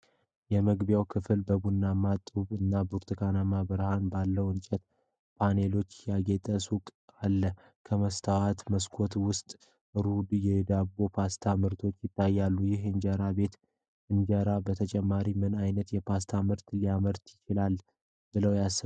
የመግቢያው ክፍል በቡናማ ጡብ እና በብርቱካናማ ብርሃን ባለው የእንጨት ፓነሎች ያጌጠ ሱቅ አለ። ከመስታወት መስኮቶች ውስጥ ሩ የዳቦና የፓስታ ምርቶች ይታያሉ። ይህ እንጀራ ቤት ከእንጀራ በተጨማሪ ምን ዓይነት የፓስታ ምርቶች ሊያመርት ይችላል ብለው ያስባሉ?